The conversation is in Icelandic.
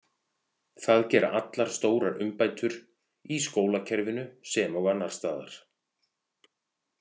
Það gera allar stórar umbætur, í skólakerfinu sem og annars staðar.